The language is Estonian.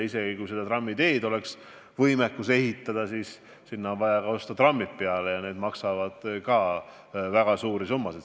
Ja isegi kui trammiteed suudetaks ehitada, siis lisaks on vaja osta ka trammid ja need maksavad väga suuri summasid.